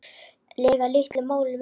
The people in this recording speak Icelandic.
lega litlu máli með mig.